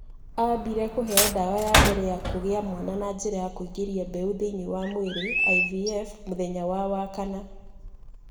Aambire kũheo ndawa ya mbere ya kũgĩa mwana na njĩra ya kũingĩria mbeũ thĩinĩ wa mwĩrĩ (IVF) mũthenya wa Wakana.